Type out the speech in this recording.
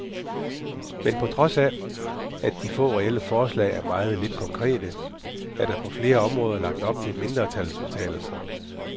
Men på trods af, at de få reelle forslag er meget lidt konkrete, er der på flere områder lagt op til mindretalsudtalelser.